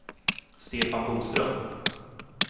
Stefan Boström